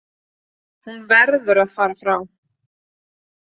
Hún verður að fara frá